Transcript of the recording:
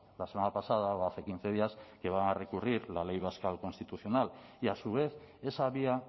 la semana pasada o hace quince días que va a recurrir la ley vasca al constitucional y a su vez esa vía